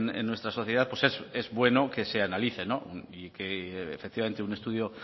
en nuestra sociedad pues es bueno que se analice y que efectivamente un estudio